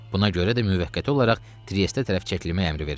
Buna görə də müvəqqəti olaraq Triesdə tərəf çəkilmə əmri verildi.